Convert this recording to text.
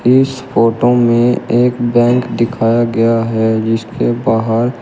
इस फोटो में एक बैंक दिखाया गया है जिसके बाहर--